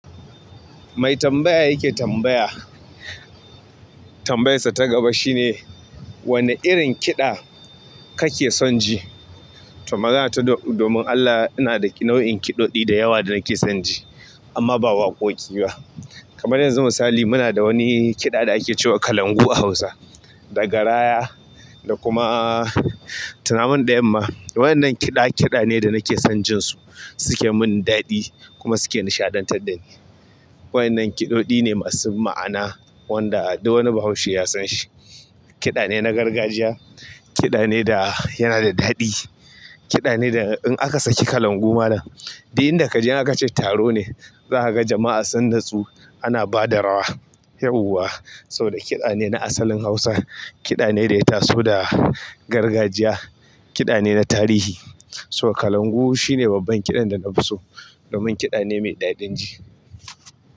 Mai tambaya yake tambaya, tambayarsa ta gaba shine wanne irin kiɗa kake son ji? To magana ta domin Allah ina da nau'in kiɗoɗi da yawa da nake son ji amma ba waƙoƙi ba. Kamar yanzu misali muna da wani kiɗa da ake cewa kalangu a Hausa, da garaya da kuma tunaman da yamma. Wayan nan kiɗa ne danake sonsu jinsu suke mun daɗi kuma suke nisha dan tar dani. Wayannan kiɗoɗi ne masu ma'ana wanda duk wani bahaushe ya san shi. Kiɗa ne na gargajiya, kiɗa ne da yana da daɗi, kiɗa ne da in aka saki kalangu malam dai inda ka je aka ci taro ne za a ga jama'a sanda su ana bada rawa, yauwa saboda kiɗa ne na asalin Hausa. Kiɗa ne da ya taso da gargajiya, kiɗa ne na tarihi. So kalangu shine babban kiɗan da na fi so domin kiɗa ne mai daɗin ji.